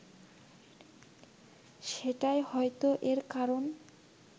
সেটাই হয়তো এর কারণ